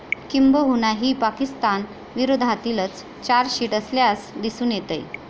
किंबहुना ही पाकिस्तान विरोधातीलच चार्जशिट असल्यास दिसून येतंय.